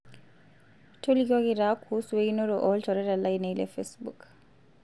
toilikioki taa kuusu einoto olchoreta lainei le facebook